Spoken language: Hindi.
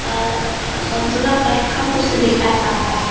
अ अ संतोला कलर का कुछ दिखाई पड़ता है।